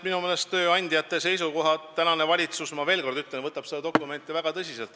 Ma ütlen veel kord, et praegune valitsus võtab tööandjate seisukohti, seda dokumenti väga tõsiselt.